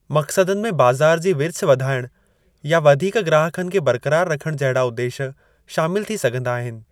मक़सदनि में बाज़ार जी विर्छ वधाइणु या वधीक ग्राहकनि खे बरक़रारु रखण जहिड़ा उदेश शामिल थी सघिन्दा आहिनि।